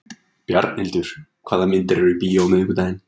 Bjarnhildur, hvaða myndir eru í bíó á miðvikudaginn?